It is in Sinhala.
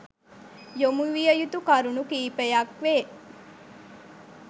යොමු විය යුතු කරුණු කීපයක් වේ